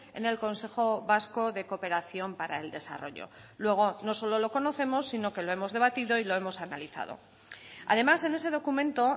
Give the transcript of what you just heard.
en el consejo vasco de cooperación para el desarrollo luego no solo lo conocemos sino que lo hemos debatido y lo hemos analizado además en ese documento